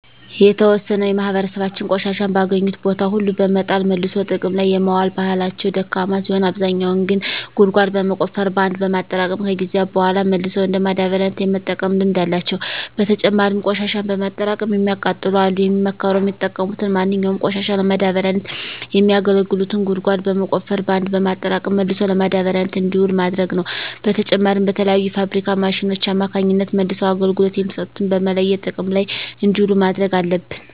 የተዎሰነው የማህበራሰባችን ቆሻሻን በአገኙት ቦታ ሁሉ በመጣል መልሶ ጥቅም ላይ የማዋል ባህላቸው ደካማ ሲሆን አብዛኛው ግን ጉድጓድ በመቆፈር በአንድ በማጠራቀም ከጊዜያት በሗላ መልሰው እንደ ማዳበሪያነት የመጠቀም ልምድ አላቸው። በተጨማሪም ቆሽሻን በማጠራቀም የሚያቃጥሉ አሉ። የሚመከረውም የተጠቀሙትን ማንኛውንም ቆሻሻ ለማዳበሪያነት የሚያገለግሉትን ጉድጓድ በመቆፈር በአንድ በማጠራቀም መልሶ ለማዳበሪያነት እንዲውል ማድረግ ነው። በተጨማሪም በተለያዩ የፋብሪካ ማሽኖች አማካኝነት መልሰው አገልግሎት የሚሰጡትን በመለየት ጥቅም ላይ እንዲውሉ ማድረግ አለብን።